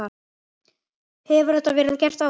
Hefur þetta verið gert áður?